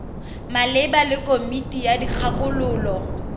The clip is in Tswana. maleba le komiti ya dikgakololo